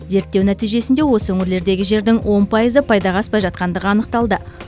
зерттеу нәтижесінде осы өңірлердегі жердің он пайызы пайдаға аспай жатқандығы анықталды